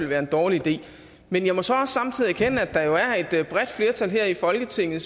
være en dårlig idé men jeg må så også samtidig erkende at der jo er et bredt flertal her i folketinget